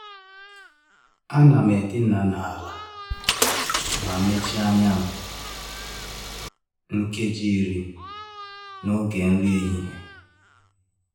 A na'm edina n’ala ma mechie anya m nkeji iri n’oge nri ehihie.